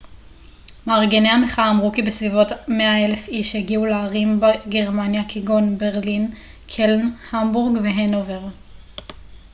מארגני המחאה אמרו כי בסביבות 100,000 איש הגיעו לערים בגרמניה כגון ברלין קלן המבורג והנובר